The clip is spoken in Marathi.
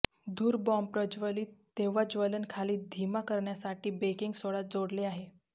धूर बॉम्ब प्रज्वलित तेव्हा ज्वलन खाली धीमा करण्यासाठी बेकिंग सोडा जोडले आहे